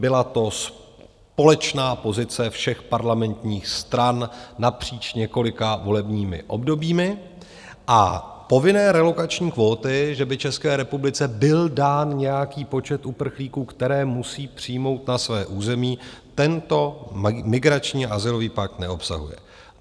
Byla to společná pozice všech parlamentních stran napříč několika volebními obdobími a povinné relokační kvóty, že by České republice byl dán nějaký počet uprchlíků, které musí přijmout na své území, tento migrační azylový pakt neobsahuje.